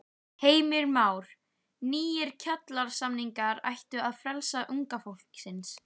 Heimir Már: Nýir kjarasamningar ættu að freista unga fólksins?